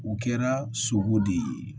U kɛra sogo de ye